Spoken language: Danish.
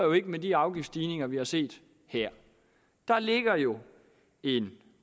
med de afgiftsstigninger vi har set her der ligger jo en